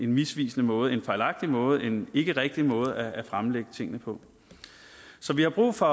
misvisende måde en fejlagtig måde en ikkerigtig måde at fremlægge tingene på så vi har brug for